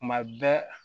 Tuma bɛɛ